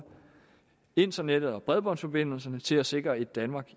internettet og bredbåndsforbindelserne til at sikre et danmark